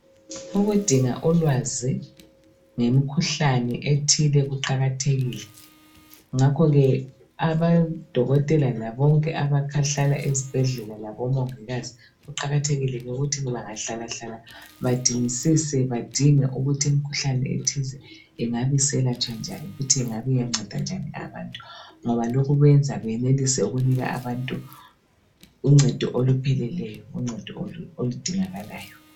Ukudinga ulwazi ngemikhuhlane ethile kuqakathekile ngakho ke abodokotela labobonke abahlala esibhedlela labongikazi kuqakathekile ukuthi bangahlalahlala badingisise badinge ukuthi imikhuhlane ethize ingabe iselatshwa njani futhi ingabe iyanceda njani abantu ngobalokhu kwenza benelise ikupha abantu uncedo olupheleleyo uncedo oludingakalayo.